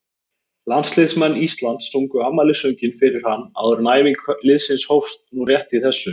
Landsliðsmenn Íslands sungu afmælissönginn fyrir hann áður en æfing liðsins hófst nú rétt í þessu.